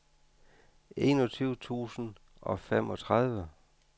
enogtyve tusind og femogtredive